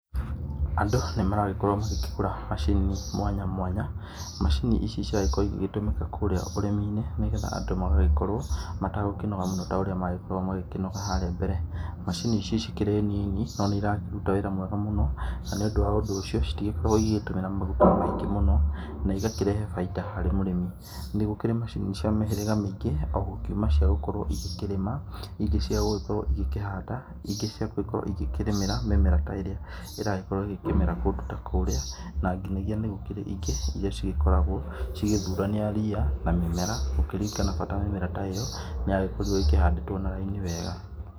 Andũ nĩmaragĩkorwo makĩgũra macini mwanya mwanya, macini ici ciagĩkorwo cigĩtũmĩka kũrĩa ũrĩmi-inĩ nĩ getha andũ magagĩkorwo matagũkĩnoga mũno ta ũrĩa magĩkoragwo makĩnoga harĩa mbere. macini ici cikĩrĩ nini no nĩ irakĩruta wĩra mwega mũno nĩ ũndũ ũcio citikoragwo igĩtũmĩra maguta maingĩ mũno na igakĩrehe bainda harĩ mũrĩmi. Nĩ gũkĩrĩ macini cia mĩhĩrĩga mĩingĩ o gũkiũma cia gũkorwo igĩkĩrĩma, ingĩ ciagũkorwo igĩkĩhanda, ingĩ cia gũkorwo igĩkĩrĩmĩra mĩmera ta ĩrĩa ĩragĩkorwo ĩkĩmera kũndũ ta kũrĩa. Na nginagia nĩ gũkĩrĩ ingĩ iria cigĩkoragwo cigĩthurania ria na mĩmera gũkĩringana bata mĩmera ta ĩyo nĩ yagĩkorirwo ĩkĩhandĩtwo na raini wega.